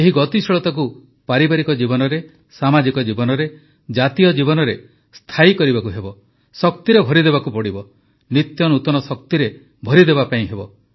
ଏହି ଗତିଶୀଳତାକୁ ପାରିବାରିକ ଜୀବନରେ ସାମାଜିକ ଜୀବନରେ ଜାତୀୟ ଜୀବନରେ ସ୍ଥାୟୀ କରିବାକୁ ହେବ ଶକ୍ତିରେ ଭରି ଦେବାକୁ ହେବ ନିତ୍ୟ ନୂତନ ଶକ୍ତିରେ ଭରି ଦେବାକୁ ହେବ